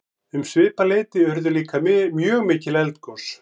um svipað leyti urðu líka mjög mikil eldgos